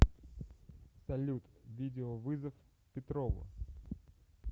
салют видеовызов петрову